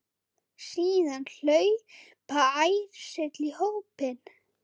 Síðan hlaupa ærsli í hópinn.